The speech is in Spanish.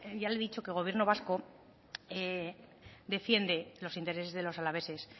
ya le dicho que gobierno vasco defiende los intereses de los alaveses